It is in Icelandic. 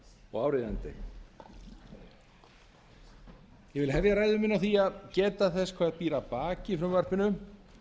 og áríðandi ég vil hefja ræðu mína á því að geta þess hvað býr að baki í frumvarpinu